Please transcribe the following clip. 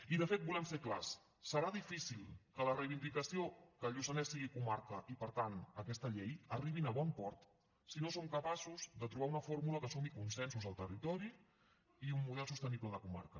i de fet volem ser clars serà difícil que la reivindicació que el lluçanès sigui comarca i per tant aquesta llei arribin a bon port si no som capaços de trobar una fórmula que sumi consensos al territori i un model sostenible de comarca